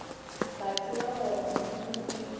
ba tseba gore modimo ke